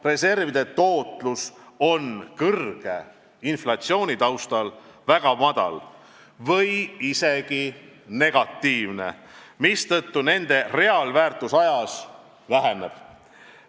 Reservide tootlus on kõrge inflatsiooni taustal väga väike või isegi negatiivne, mistõttu nende reaalväärtus ajas väheneb.